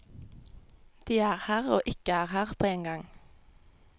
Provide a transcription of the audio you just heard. De er her og ikke er her på en gang.